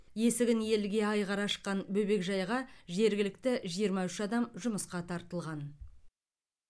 есігін елге айқара ашқан бөбекжайға жергілікті жиырма үш адам жұмысқа тартылған